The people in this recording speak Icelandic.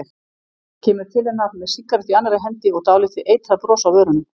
Kemur til hennar með sígarettu í annarri hendi og dálítið eitrað bros á vörunum.